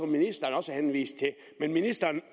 ministeren også henviste til ministeren